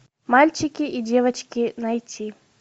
мальчики и девочки найти